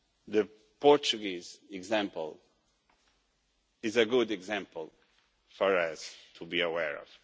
The Portuguese example is a good example for us to be aware of.